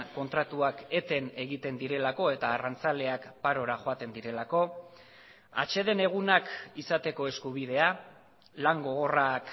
kontratuak eten egiten direlako eta arrantzaleak parora joaten direlako atseden egunak izateko eskubidea lan gogorrak